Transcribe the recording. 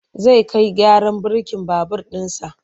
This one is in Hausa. Zai kai gyaran birkin babur ɗinsa.